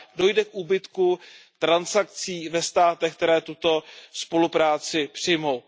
dojde k úbytku transakcí ve státech, které tuto spolupráci přijmou.